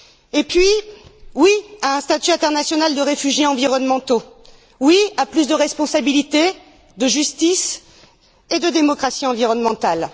Et puis, oui à un statut international des réfugiés environnementaux. Oui à plus de responsabilité, de justice et de démocratie environnementale.